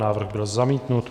Návrh byl zamítnut.